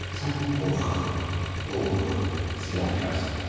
Sən qorxaq, oğru, ziyankarsan.